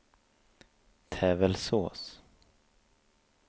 Tävelsås